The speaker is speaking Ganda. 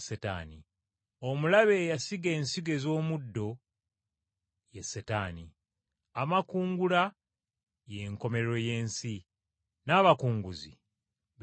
Omulabe eyasiga ensigo ez’omuddo ye Setaani, amakungula y’enkomerero y’ensi n’abakunguzi be bamalayika.